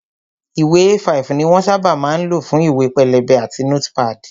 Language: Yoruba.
Ìwé A5 ni wón sábà máa ń lò fún ìwé pélébé àti nótípàdì